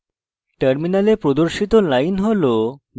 terminal প্রদর্শিত line হল